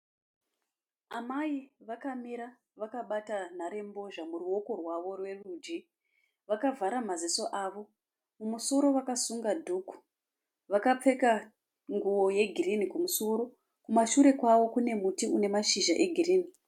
Amai vakamira vakabata nharembozha muruoko rwavo rwerudyi vakavhara maziso avo. Mumusoro vakasunga dhuku. Vakapfeka nguwo yegirinhi kumusoro. Kumashure kwavo kune muti une mashizha egirinhi.